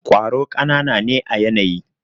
kwaro kanana ne à yanayi.